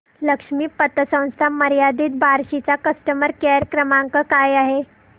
लक्ष्मी पतसंस्था मर्यादित बार्शी चा कस्टमर केअर क्रमांक काय आहे